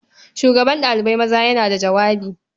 Shugaban ɗalibai maza yana jawabi.